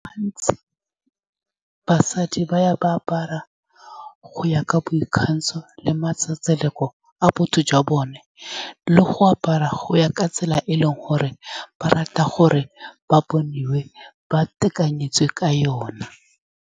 Gantsi, basadi ba ya ba apara go ya ka boikgantsho le matsetseleko a botho jwa bone, le go apara go ya ka tsela e e leng gore ba rata gore ba boniwe ba tekanyetso ka yone.